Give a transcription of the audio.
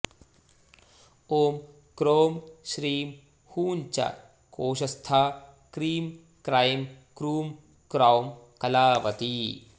ॐ क्रों श्रीं हूं च कोशस्था क्रीं क्रैं क्रूं क्रौं कलावती